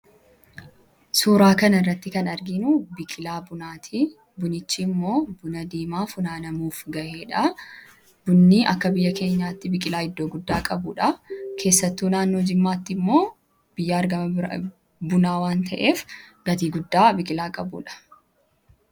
Suuraa kan irratti kan argiinuu biqilaa bunatti. Bunichii immoo buna-diimaa funaanamuuf ga'eedha. Bunni akka biyya keenyaatti biqilaa iddoo guddaa qabuudha keessattuu naannoo jimmaatti immoo biyya argama bunaa waan ta'eef gatii guddaa biqilaa qabuudha.